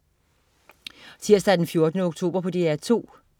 Tirsdag den 14. oktober - DR 2: